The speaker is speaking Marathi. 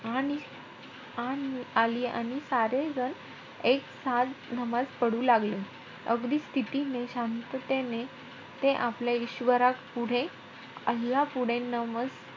आणि~ आणि आली. आणि सारे जण एकसाथ नमाज पढू लागले. अगदी स्थितीने, शांततेने ते आपल्या इश्वरापुढे, अल्लापुढे नमाज,